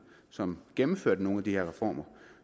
som gennemførte nogle af de her reformer